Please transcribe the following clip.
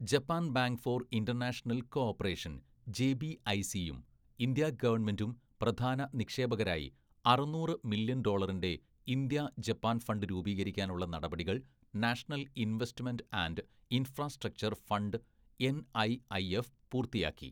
"Japan‍ bank for‍ international‍ cooperation‍ ജെബിഐസിയും India ഗവണ്മെന്റും പ്രധാന നിക്ഷേപകരായി അറുന്നൂറ് മില്യണ്‍ ഡോളറിന്റെ ഇന്ത്യ ജപ്പാന്‍ ഫണ്ട് രൂപീകരിക്കാനുള്ള നടപടികള്‍ national‍ investment and infrastructure‍ fund NIIF പൂര്‍ത്തിയാക്കി. "